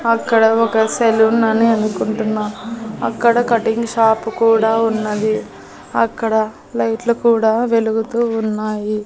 అక్కడ ఒక సెలూన్ అని అనుకుంటున్నా అక్కడ కటింగ్ షాప్ కూడా ఉన్నది అక్కడ లైట్లు కూడా వెలుగుతూ ఉన్నాయి.